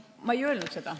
Ma ei öelnud seda.